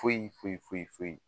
Foyi foyi foyi foyi